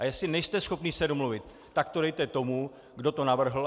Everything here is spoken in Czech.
A jestli nejste schopni se domluvit, tak to dejte tomu, kdo to navrhl.